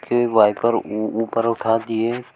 wiper उ ऊपर उठा दिए--